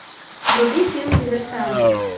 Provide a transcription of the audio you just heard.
вруби фильм диверсанты